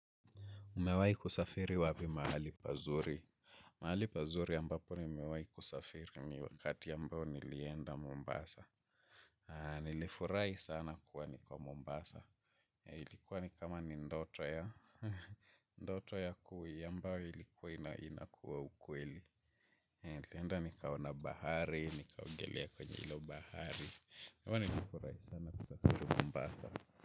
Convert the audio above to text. Umewai kusafiri wapi mahali pazuri. Mahali pazuri ambapo ni mewai kusafiri ni wakati ambao nilienda Mombasa. Nilifurahi sana kuwa ni ko Mombasa. Ilikuwa ni kama ni ndoto ya. Ndoto ya kui ambayo ilikuwa inakuwa ukweli. Nilienda nikaona bahari, nikaogelea kwenye ilo bahari. Nilifurahi sana kusafiri Mombasa.